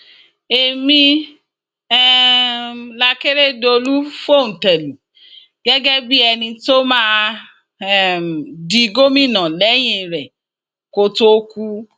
èmi um làkèrèdọlù fòńté lù gẹgẹ bíi ẹni tó máa um di gómìnà lẹyìn rẹ kó tóó kú